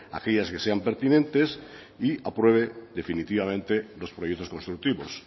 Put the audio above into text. aquellas que sean pertinentes y apruebe definitivamente los proyectos constructivos